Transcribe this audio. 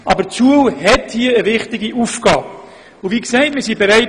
Die Schule hat hier eine wichtige Aufgabe, und wir sind bereit.